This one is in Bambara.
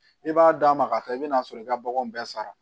I b'a d'a ma ka taa i bɛn'a sɔrɔ i ka baganw bɛɛ sara